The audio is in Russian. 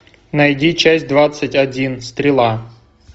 найди часть двадцать один стрела